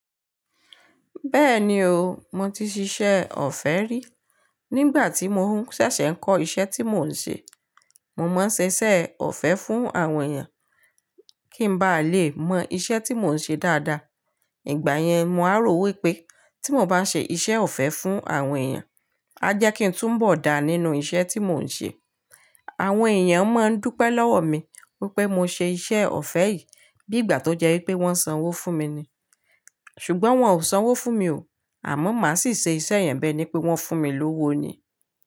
Bẹ́ẹ̀ni o, mo ti ṣiṣẹ́ ọ̀fẹ́ rí. Nígbà tí mò ń ṣẹ̀ṣẹ̀ kọ́ iṣẹ́ tí mò ń ṣe, mo máa ń ṣiṣẹ́ ọ̀fẹ́ fún àwọn èèyàn kí n ba lè mọ iṣẹ́ tí mò ń ṣe dáadáa. Ìgbà yẹn, mo rò wípé tí mò bá ń ṣe iṣẹ́ ọ̀fẹ́ fún àwọn èèyàn, a jẹ́ kí n túnbọ̀ dá nínú iṣẹ́ tí mò ń ṣe. Àwọn èèyàn máa ń dúpẹ́ lọ́wọ́ mi wípé mo ṣe iṣẹ́ ọ̀fẹ́ yìí bí ìgbà tó jẹ́ wípé wọ́n sanwó fún mi ni. Ṣùgbọ́n wọn ò sanwó fún mi o, àmọ́ mà á sì ṣe iṣẹ́ ìyẹn bẹ́ ní pé wọ́n fún mi lówó ni.